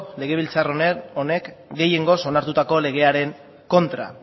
legebiltzar honek gehiengoz onartutako legearen kontra